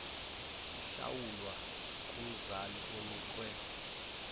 ihlawulwa kumzali onikwe